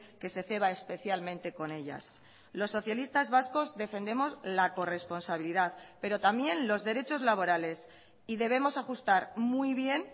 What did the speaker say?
que se ceba especialmente con ellas los socialistas vascos defendemos la corresponsabilidad pero también los derechos laborales y debemos ajustar muy bien